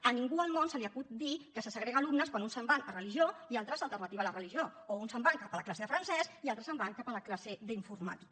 a ningú al món se li acut dir que se segreguen alumnes quan uns se’n van a religió i altres a alternativa a la religió o uns se’n van cap a la classe de francès i altres se’n van cap a la classe d’informàtica